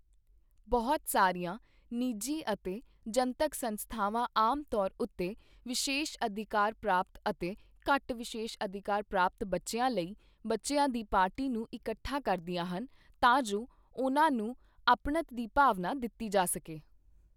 ਬਹੁਤ ਸਾਰੀਆਂ ਨਿਜੀ ਅਤੇ ਜਨਤਕ ਸੰਸਥਾਵਾਂ ਆਮ ਤੌਰ ਉੱਤੇ ਵਿਸ਼ੇਸ਼ ਅਧਿਕਾਰ ਪ੍ਰਾਪਤ ਅਤੇ ਘੱਟ ਵਿਸ਼ੇਸ਼ ਅਧਿਕਾਰ ਪ੍ਰਾਪਤ ਬੱਚਿਆਂ ਲਈ, ਬੱਚਿਆਂ ਦੀ ਪਾਰਟੀ ਨੂੰ ਇਕੱਠਾ ਕਰਦੀਆਂ ਹਨ ਤਾਂ ਜੋ ਉਨ੍ਹਾਂ ਨੂੰ ਅਪਣੱਤ ਦੀ ਭਾਵਨਾ ਦਿੱਤੀ ਜਾ ਸਕੇ।